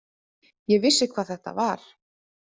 Ég vissi hvað þetta var.